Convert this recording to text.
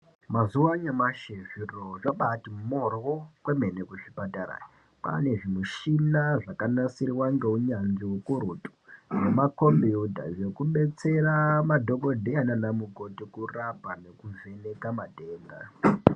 Mazuwa anyamashi zviro zvabati moryo kwemene kuzvipatara kwane zvimushina zvakanasirwa ngeunyanzvi ukurutu nemakombiyuta zvekubetsera madhokodheya nana mukoti kurapa nekuvheneka matenda.